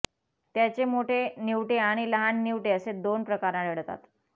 त्याचे मोठे निवटे आणि लहान निवटे असे दोन प्रकार आढळतात